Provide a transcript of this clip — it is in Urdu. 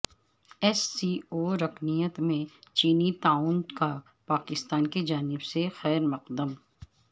ایس سی او رکنیت میں چینی تعاون کا پاکستان کی جانب سے خیر مقدم